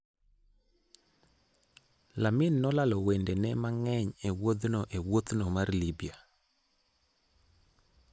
Lamin nolalo wedene mang'eny e wuodhno e wuothno mar Libya: